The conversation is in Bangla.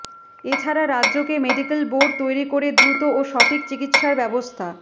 এ ছাড়া রাজ্যকে মেডিক্যাল বোর্ড তৈরি করে দ্রুত ও সঠিক চিকিৎসার ব্যবস্থা